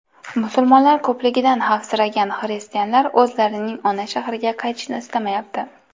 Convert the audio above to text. Musulmonlar ko‘pligidan xavfsiragan xristianlar o‘zlarining ona shahriga qaytishni istamayapti.